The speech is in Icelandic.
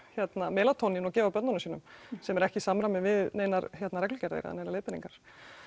melatónín og gefa börnunum sínum sem er ekki í samræmi við neinar reglugerðir eða neinar leiðbeiningar